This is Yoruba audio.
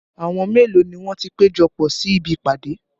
Àwọn mélòó ni wọ́n ti péjọpọ̀ sí ibi ìpàdé?